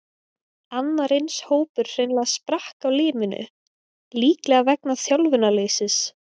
Annar eins hópur hreinlega sprakk á limminu, líklega vegna þjálfunarleysis.